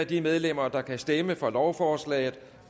de medlemmer der kan stemme for lovforslaget